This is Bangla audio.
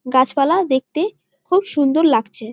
গাছপালা দেখতে খুব সুন্দর লাগছে।